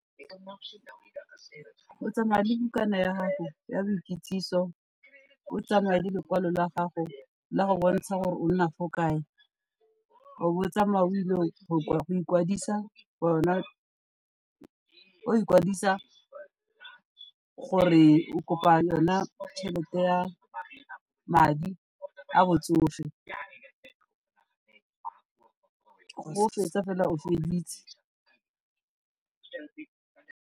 O tsamaya le bukana ya gago ya boikitsiso, o tsamaye le lekwalo la gago la go bontsha gore o nna fo kae, o bo o tsamaya o ile go ikwadisa gore o kopa yona tšhelete ya madi a botsofe, fa o fetsa fela o feditse.